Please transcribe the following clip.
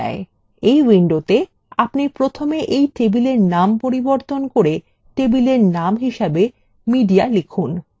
আপনি প্রথমে এই table name পরিবর্তন করে table name হিসাবে media লিখুন